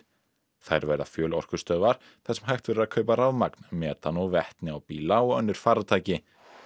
þær verða þar sem hægt verður að kaupa rafmagn metan og vetni á bíla og önnur farartæki